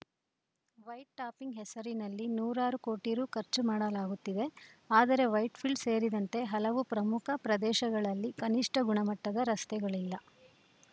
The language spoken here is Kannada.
ವೈಟ್‌ ಟಾಪಿಂಗ್‌ ಹೆಸರಿನಲ್ಲಿ ನೂರಾರು ಕೋಟಿ ರು ಖರ್ಚು ಮಾಡಲಾಗುತ್ತಿವೆ ಆದರೆ ವೈಟ್‌ ಫೀಲ್ಡ ಸೇರಿದಂತೆ ಹಲವು ಪ್ರಮುಖ ಪ್ರದೇಶಗಳಲ್ಲಿ ಕನಿಷ್ಠ ಗುಣಮಟ್ಟದ ರಸ್ತೆಗಳಿಲ್ಲ